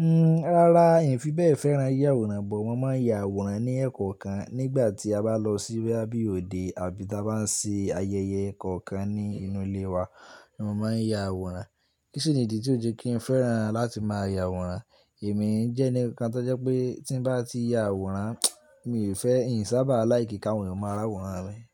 Nn, rárá, n fi bẹ́ẹ̀ fẹ́ran yíya àwòrán, bọ̀ wọ́n máa ń ya àwòrán ní ẹ̀kọ́ kan nígbà tí a bá lọ sí bí òde àbí ta bá ń ṣe ayẹyẹ kankan ní inú ilé wa ni wọ́n máa ń ya àwòrán. Kíṣinìdí tí ó jẹ́ kí n fẹ́ran láti máa ya àwòrán, èmi ń jẹ́ ẹni kan tó jẹ́ pé tí bá ti ya àwòrán, mi ò fẹ́, n sì sábà á láì kí kàwé máa rá àwòrán mi.